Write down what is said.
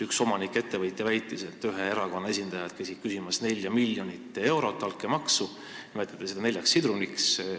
Üks ettevõtja väitis, et ühe erakonna esindajad käisid küsimas 4 miljonit eurot altkäemaksu, seda nimetati neljaks sidruniks.